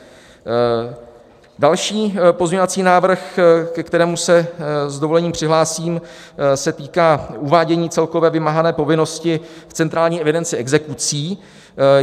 Další pozměňovací návrh, ke kterému se s dovolením přihlásím, se týká uvádění celkové vymáhané povinnosti v centrální evidenci exekucí.